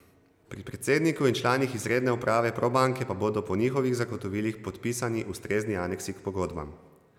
Pri predsedniku in članih izredne uprave Probanke pa bodo po njihovih zagotovilih podpisani ustrezni aneksi k pogodbam.